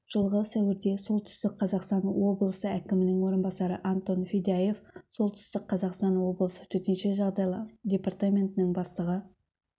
жылғы сәуірде солтүстік қазақстан облысы әкімінің орынбасары антон федяев солтүстік қазақстан облысы төтенше жағдайлар департаментінің бастығы